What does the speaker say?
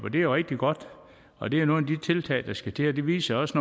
det er rigtig godt og det er nogle af de tiltag der skal til det viser også